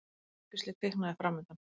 Sólargeisli kviknaði framundan.